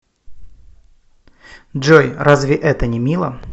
джой разве это не мило